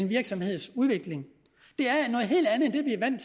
virksomhedens udvikling